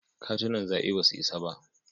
Katunan zaɓe ba su isa ba.